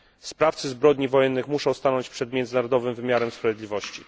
Sprawcy zbrodni wojennych muszą stanąć przed międzynarodowym wymiarem sprawiedliwości.